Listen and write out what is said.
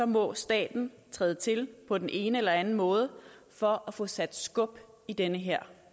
må staten træde til på den ene eller den anden måde for at få sat skub i den her